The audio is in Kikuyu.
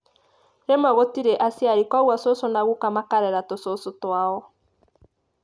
Rĩmwe gũtirĩ aciari koguo cũcũ na guka makarera tucũcũ twao.